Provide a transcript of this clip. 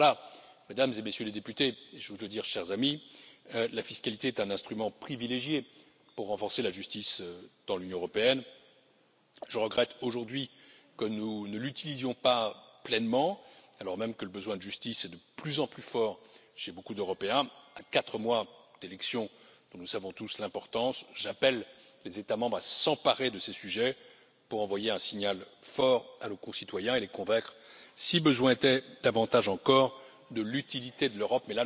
Voilà, Mesdames et Messieurs les députés et, j'ose le dire, chers amis, la fiscalité est un instrument privilégié pour renforcer la justice dans l'Union européenne. Je regrette aujourd'hui que nous ne l'utilisions pas pleinement, alors même que le besoin de justice est de plus en plus fort chez beaucoup d'Européens, à quatre mois d'élections dont nous connaissons tous l'importance, j'appelle les États membres à s'emparer de ces sujets pour envoyer un signal fort à nos concitoyens et les convaincre, si besoin était, davantage encore de l'utilité de l'Europe.